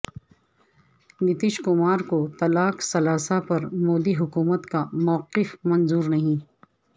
نتیش کمار کو طلاق ثلاثہ پر مودی حکومت کا موقف منظور نہیں